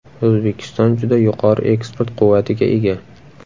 O‘zbekiston juda yuqori eksport quvvatiga ega.